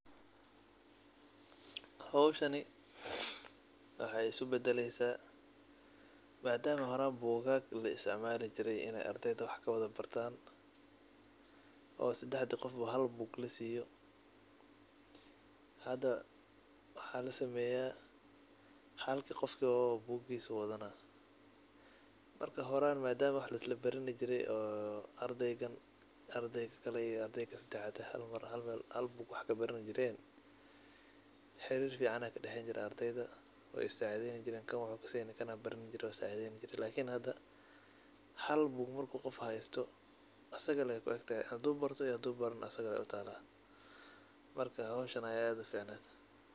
Howshani wexey isubadaleysa madama bugag laisticmali jire ardeyda wax kubartan oo sadexdi qofba hal bug lasiyo hada waxa lasameya halki qofba bug aya lasina. Marka madam horan wax laislabarani jire oo ardeygan kan klae iyo kan sadexad hal meel wax kabarani jiren xirir fican aya kadexeye ardeyda wey is sacideyni jiren kan wuxu kaseyniiin kan kale aya cawinaye marka hada hal bug marku hesto asaga ayey kuegtahay hadu barto iyo hadi kale asagey utala marka howshan kaficned.